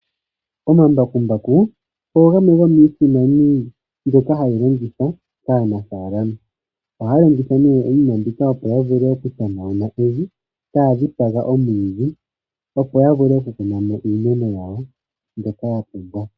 Omambakumbaku ogo gamwe gomiisimani mbyoka hayi longithwa kaanafaalama. Ohaya longitha nee iinim ambika, opo ya vule okutanauna evi taya dhipaga omwiidhi, opo ya vule okukuna mo iimeno yawo mbyoka ya pumbwa.